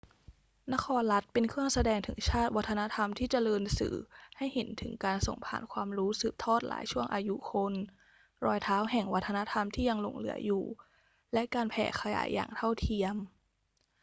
นครรัฐเป็นเครื่องแสดงถึงชาติ วัฒนธรรมที่เจริญสื่อให้เห็นถึงการส่งผ่านความรู้สืบทอดหลายช่วงอายุคน รอยเท้าแห่งวัฒนธรรมที่ยังหลงเหลืออยู่ และการแผ่ขยายอย่างเท่าเทียม